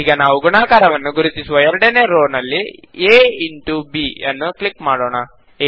ಈಗ ನಾವು ಗುಣಾಕಾರವನ್ನು ಗುರುತಿಸುವ ಎರಡನೇ ರೋನಲ್ಲಿ a ಇಂಟೊ b ನ್ನು ಕ್ಲಿಕ್ ಮಾಡೋಣ